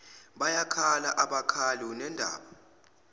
bayakhala abakhali unendaba